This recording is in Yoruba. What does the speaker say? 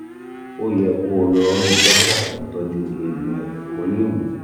ó yẹ kó o lọ rí dókítà tó ń tọ́jú eegun ẹ̀yìn kó lè wò ó